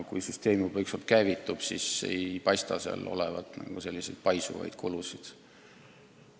Kui süsteem on juba käivitunud, siis ei paista seal olevat mingeid paisuvaid kulusid.